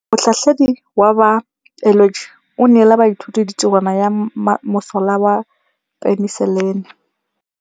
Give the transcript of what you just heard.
Motlhatlhaledi wa baeloji o neela baithuti tirwana ya mosola wa peniselene.